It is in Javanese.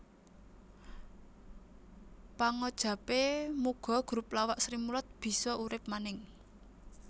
Pangajapé muga grup lawak Srimulat bisa urip maning